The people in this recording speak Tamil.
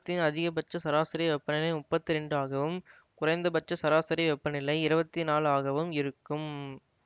இங்கு வருடத்தின் அதிகபட்ச சராசரி வெப்பநிலை முப்பத்தி இரண்டாகவும் குறைந்தபட்ச சராசரி வெப்பநிலை இருவத்தி நாலாகவும் இருக்கும்